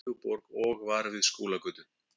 Reykjavíkurborg og var við Skúlagötu.